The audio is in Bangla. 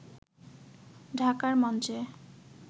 ঢাকার মঞ্চে